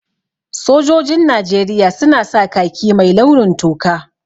Sojojin Najeriya su na sa khaki mai launin toka